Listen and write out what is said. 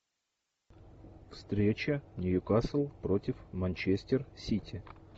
встреча ньюкасл против манчестер сити